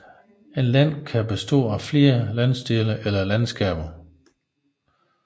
Et land kan bestå af flere landsdele eller landskaber